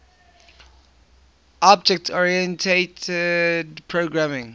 object oriented programming